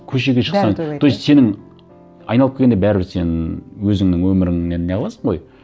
көшеге шықсаң бәрі тойлайды иә то есть сенің айналып келгенде бәрібір сен өзіңнің өміріңнен не қыласың ғой